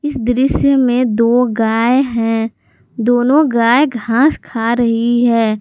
इस दृश्य में दो गाय हैं दोनों गाय घास खा रही हैं।